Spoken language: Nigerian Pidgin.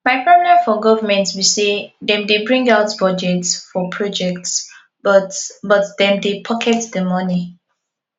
my problem for government be say dem dey bring out budget for project but but dem dey pocket the money